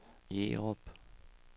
Jerup